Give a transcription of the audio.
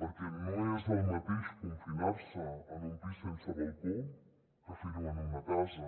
perquè no és el mateix confinar se en un pis sense balcó que fer ho en una casa